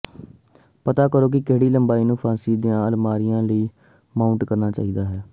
ਪਤਾ ਕਰੋ ਕਿ ਕਿਹੜੀ ਲੰਬਾਈ ਨੂੰ ਫਾਂਸੀ ਦੀਆਂ ਅਲਮਾਰੀਆਂ ਲਈ ਮਾਊਂਟ ਕਰਨਾ ਚਾਹੀਦਾ ਹੈ